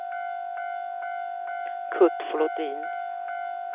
Kurt Flodin